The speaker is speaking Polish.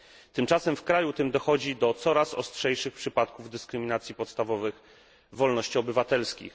Tymczasem w kraju tym dochodzi do coraz ostrzejszych przypadków dyskryminacji podstawowych wolności obywatelskich.